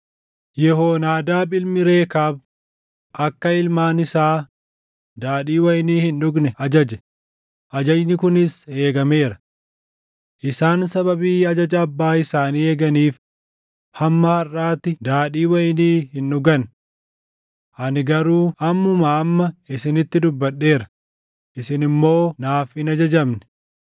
‘Yehoonaadaab ilmi Rekaab akka ilmaan isaa daadhii wayinii hin dhugne ajaje; ajajni kunis eegameera. Isaan sababii ajaja abbaa isaanii eeganiif hamma harʼaatti daadhii wayinii hin dhugan. Ani garuu ammumaa amma isinitti dubbadheera; isin immoo naaf hin ajajamne.